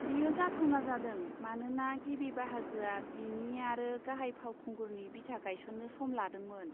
बेयो जाथावना जादों मानोना गिबि बाहागोआ बिनि आरो गाहाय फावखुंगुरनि बिथा गायसननो सम लादोंमोन।